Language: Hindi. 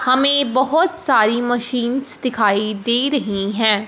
हमें बहोत सारी मशीनस दिखाई दे रही है।